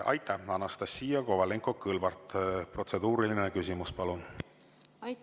Anastassia Kovalenko-Kõlvart, protseduuriline küsimus, palun!